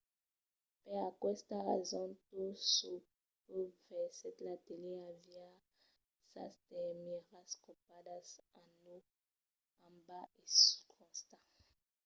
per aquesta rason tot çò que vesètz a la tele aviá sas termièras copadas en naut en bas e suls costats